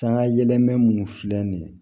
Sangayɛlɛman minnu filɛ nin ye